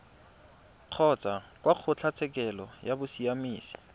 kgotsa kwa kgotlatshekelo ya bosiamisi